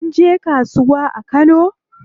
Kun je kasuwa a Kano?